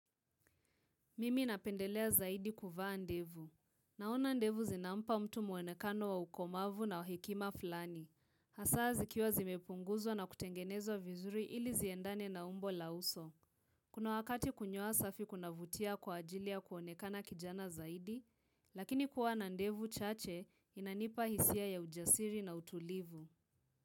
Mimi napendelea zaidi kuvaa ndevu. Naona ndevu zinampa mtu muonekano wa ukomavu na wa hekima fulani. Hasa zikiwa zimepunguzwa na kutengenezwa vizuri ili ziendane na umbo la uso. Kuna wakati kunyoa safi kunavutia kwa ajili ya kuonekana kijana zaidi, lakini kuwa na ndevu chache inanipa hisia ya ujasiri na utulivu.